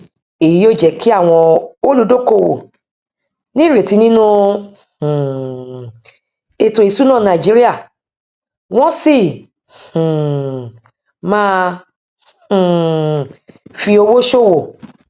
èyí yóò jẹ kí àwọn olúdókòwò ní ìrètí nínú um ètò ìsúná nàìjíríà wọn sì um má um fi owó ṣòwò